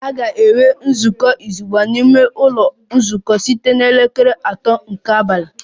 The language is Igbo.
A ga-enwe nzukọ izugbe n'ime ụlọ nzukọ site na elekere atọ nke abalị